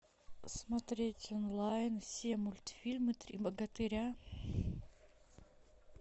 смотреть онлайн все мультфильмы три богатыря